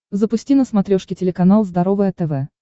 запусти на смотрешке телеканал здоровое тв